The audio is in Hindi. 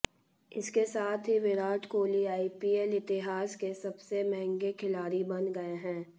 इसके साथ ही विराट कोहली आईपीएल इतिहास के सबसे महंगे खिलाड़ी बन गए हैं